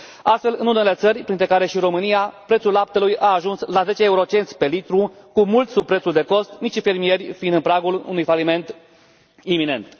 Astfel, în unele țări, printre care și România, prețul laptelui a ajuns la zece eurocenți pe litru, mult sub prețul de cost, micii fermieri fiind în pragul unui faliment iminent.